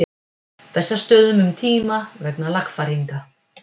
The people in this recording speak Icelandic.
Bessastöðum um tíma vegna lagfæringa.